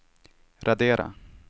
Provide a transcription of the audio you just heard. radera